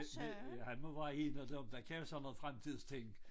Men han må være en af dem der kan sådan noget fremtidsting